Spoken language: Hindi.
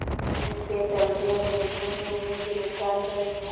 इसके चलते अंग्रेज़ों ने उन्हें गिरफ़्तार कर लिया